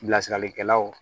Bilasiralikɛlaw